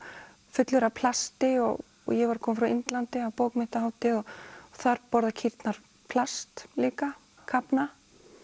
fullur af plasti og ég var að koma frá Indlandi af bókmenntahátíð og þar borða kýrnar plast líka kafna